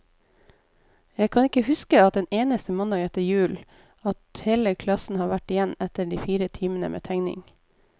Jeg kan ikke huske en eneste mandag etter jul, at hele klassen har vært igjen etter de fire timene med tegning.